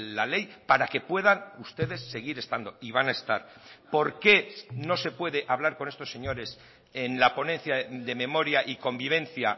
la ley para que puedan ustedes seguir estando y van a estar por qué no se puede hablar con estos señores en la ponencia de memoria y convivencia